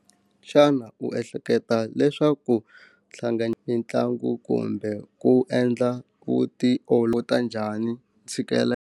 Xana u ehleketa leswaku ntlangu kumbe ku endla ta njhani .